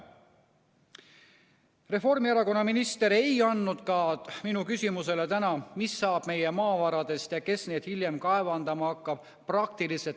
Reformierakonna minister ei andnud täna praktiliselt mitte mingisugust vastust ka minu küsimusele, mis saab meie maavaradest ja kes neid hiljem kaevandama hakkab.